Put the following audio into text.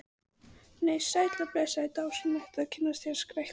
Nei, sæll og blessaður og dásamlegt að kynnast þér, skrækti